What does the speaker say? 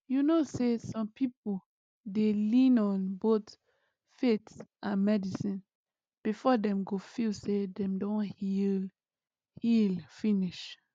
you know say some people dey lean on both faith and medicine before dem go feel say dem don heal heal finish